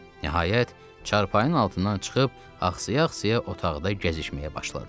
Nəhayət, çarpayının altından çıxıb axsa-axsa otaqda gəzişməyə başladı.